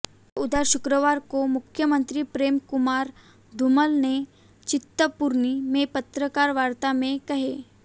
ये उद्गार शुक्रवार को मुख्यमंत्री प्रेम कुमार धूमल ने चिंतपूर्णी में पत्रकार वार्ता में कहे